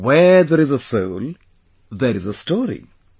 'Where there is a soul, there is a story'